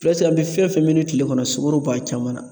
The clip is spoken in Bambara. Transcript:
an bi fɛn fɛn min kile kɔnɔ sukɔro b'a caman na.